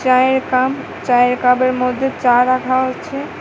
চায়ের কাপ চায়ের কাপের মধ্যে চা রাখা হয়েছে।